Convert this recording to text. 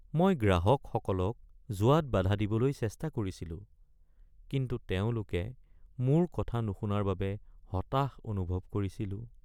মই গ্ৰাহকসকলক যোৱাত বাধা দিবলৈ চেষ্টা কৰিছিলো কিন্তু তেওঁলোকে মোৰ কথা নুশুনাৰ বাবে হতাশ অনুভৱ কৰিছিলোঁ।